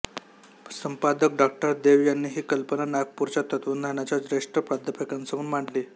संपादक डॉ देव यांनी ही कल्पना नागपूरच्या तत्त्वज्ञानाच्या ज्येष्ठ प्राध्यापकांसमोर मांडली